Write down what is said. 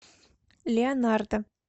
леонардо